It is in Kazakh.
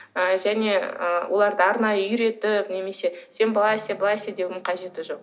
ы және ы оларды арнайы үйретіп немесе сен былай істе былай істе деудің қажеті жоқ